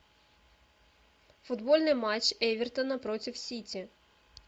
футбольный матч эвертона против сити